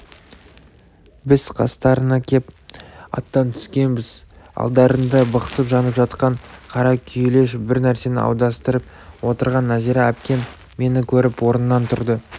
біз қастарына кеп аттан түскенбіз алдарында бықсып жанып жатқан қара күйелеш бір нәрсені аударыстырып отырған нәзира әпкем мені көріп орнынан тұрды